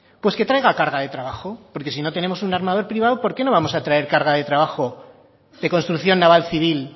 pues que traiga carga de trabajo porque si no tenemos un armador privado por qué no vamos a traer carga de trabajo de construcción naval civil